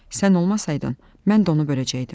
Sən olmasaydın, mən də onu böləcəkdim.